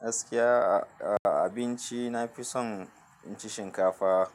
Gaskiya, a abinci na fi son inci shinkafa.